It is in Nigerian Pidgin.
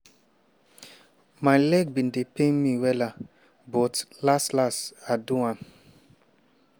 my legs bin dey pain me wella but las-las i do am."